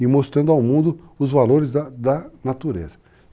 e mostrando ao mundo os valores da da natureza.